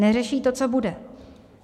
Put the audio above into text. Neřeší to, co bude.